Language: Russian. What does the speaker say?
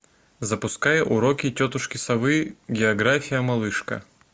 запускай уроки тетушки совы география малышка